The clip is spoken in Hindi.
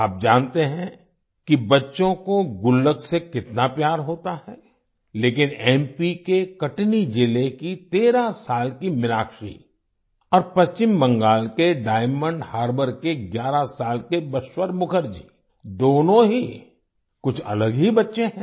आप जानते हैं कि बच्चों को गुल्लक से कितना प्यार होता है लेकिन एमपी के कटनी जिले की 13 साल की मीनाक्षी और पश्चिम बंगाल के डायमंड हार्बर के 11 साल के बश्वर मुखर्जी दोनों ही कुछ अलग ही बच्चे हैं